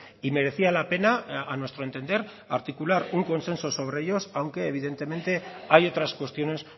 y merecía la pena a nuestro entender articular un consenso sobre ellos aunque evidentemente hay otras cuestiones